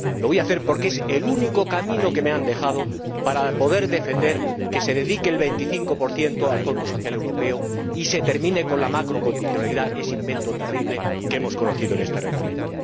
Lo voy a hacer porque es el único camino que me han dejado para poder defender que se dedique el 25 al Fondo Social Europeo y se termine con la macrocondicionalidad, ese invento terrible que hemos conocido en este Reglamento.